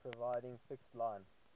providing fixed line